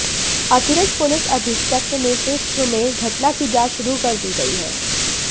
अतिरिक्त पुलिस अधीक्षक के नेतृत्व में घटना की जांच शुरू कर दी गई है